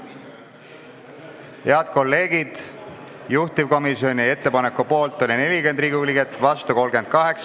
Hääletustulemused Head kolleegid, juhtivkomisjoni ettepaneku poolt oli 40 Riigikogu liiget, vastu 38.